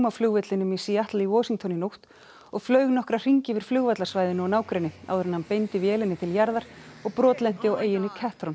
flugvellinum í Seattle í Washington í nótt og flaug nokkra hringi yfir flugvallarsvæðinu og nágrenni áður en hann beindi vélinni til jarðar og brotlenti á eyjunni